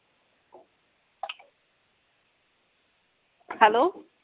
hello